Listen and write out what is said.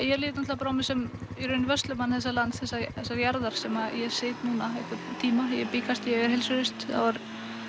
ég lít á mig sem vörslumann þessa lands þessarar jarðar sem ég sit núna einhvern tíma ég bý kannski ef ég verð heilsuhraust þá er